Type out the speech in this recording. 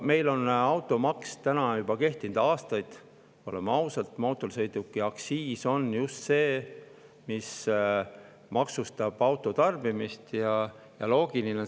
Meil on automaks kehtinud juba aastaid, oleme ausad, aktsiis on just see, millega maksustatakse auto.